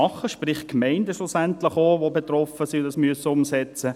Schlussendlich sind auch Gemeinden betroffen und müssen das umsetzen.